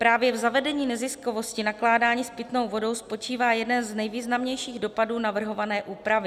Právě v zavedení neziskovosti nakládání s pitnou vodou spočívá jeden z nejvýznamnějších dopadů navrhované úpravy.